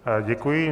Děkuji.